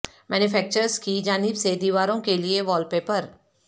manufacturers کی جانب سے دیواروں کے لئے وال پیپر